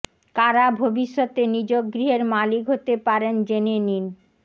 কারা ভবিষ্যতে নিজ গৃহের মালিক হতে পারেন জেনে নিন